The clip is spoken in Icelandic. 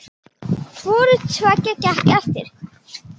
Hvoru tveggja gekk eftir.